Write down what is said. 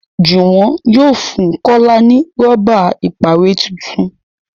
Juwon yóò fún kola ní Rọ́bà ìpàwérẹ́ títún.